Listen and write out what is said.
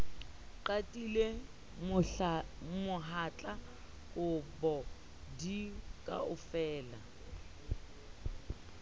qatile mohatla kobo di fokaela